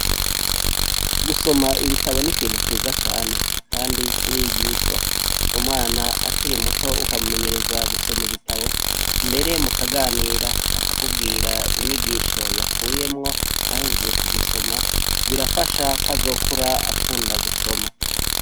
Gusoma ibitabo n'ikintu ciza cane ,kandi kirigishwa umwana akiri muto ukamumenyereza gusoma ibitabo, mbere mu kaganira akakubwira inyigisho yakuyemwo aheje ku gisoma, birafasha kw azokura akunda gusoma.